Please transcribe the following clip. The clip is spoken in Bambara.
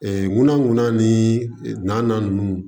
ŋunan ŋuna ni naaninan ninnu